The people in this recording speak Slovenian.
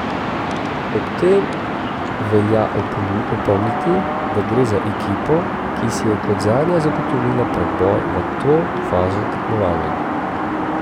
Ob tem velja opomniti, da gre za ekipo, ki si je kot zadnja zagotovila preboj v to fazo tekmovanja.